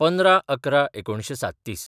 १५/११/१९३७